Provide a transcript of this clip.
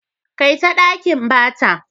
Kaita ɗakin bata.